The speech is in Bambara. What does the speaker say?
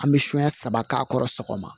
An bɛ sonya saba k'a kɔrɔ sɔgɔma